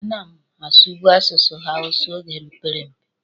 A na m asụbụ asụsụ hawusa oge m pere mpe.